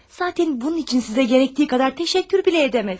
Zatən bunun üçün sizə gərəkdiyi qədər təşəkkür belə edəməm.